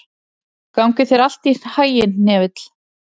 Gangi þér allt í haginn, Hnefill.